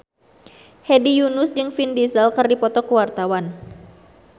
Hedi Yunus jeung Vin Diesel keur dipoto ku wartawan